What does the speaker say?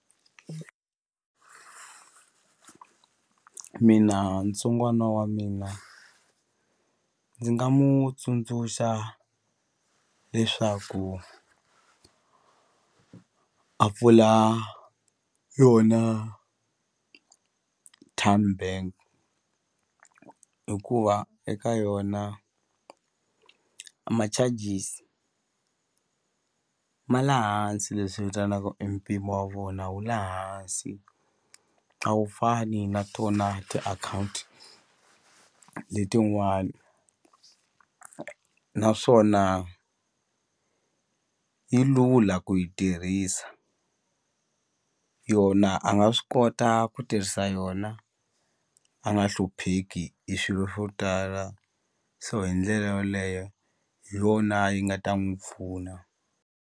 Mina ntsongwana ya mina ni nga mu tsundzuxa leswaku a pfula yona Tymebank hikuva eka yona a ma-charges ma le hansi leswi vitanaka e mpimo wa vona wu le hansi a wu fani na tona tiakhawunti letin'wani naswona yi lula ku yi tirhisa yona a nga swi kota ku tirhisa yona a nga hlupheki hi swilo swo tala so hi ndlela yoleyo hi yona yi nga ta n'wi pfuna.